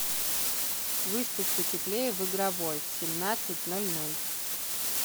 выставь потеплее в игровой в семнадцать ноль ноль